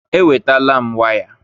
Ewetala m waya